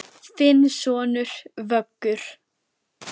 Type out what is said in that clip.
Þinn sonur, Vöggur.